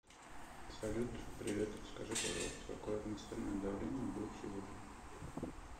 салют привет скажи пожалуйста какое атмосферное давление будет сегодня